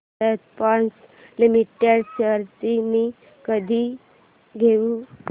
Bharat Forge Limited shares मी कधी घेऊ